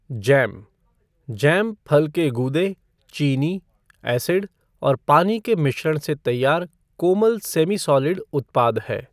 Jam jam फल के गूदे, चीनी, एसिड और पानी के मिश्रण से तैयार कोमल सेमी सॉलिड उत्पदा है।